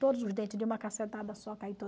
Todos os dentes de uma cacetada só